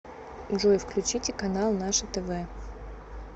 джой включите канал наше тв